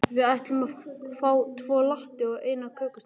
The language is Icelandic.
Við ætlum að fá tvo latte og eina kökusneið.